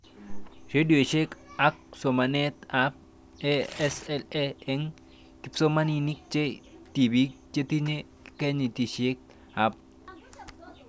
Redioshek ak somanet ab ASAL eng' kipsomanik che tipik chetinye kenyishek 13-15